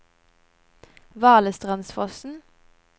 Valestrandsfossen